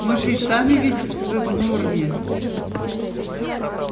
мы же и сами видим что вы в норме